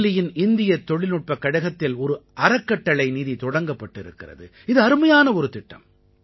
தில்லியின் இந்திய தொழில்நுட்பக் கழகத்தில் ஒரு அறக்கட்டளை நிதி தொடங்கப் பட்டிருக்கிறது இது அருமையான ஒரு திட்டம்